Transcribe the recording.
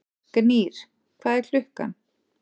Gnýr, hvað er klukkan?